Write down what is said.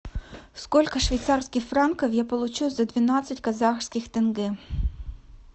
сколько швейцарских франков я получу за двенадцать казахских тенге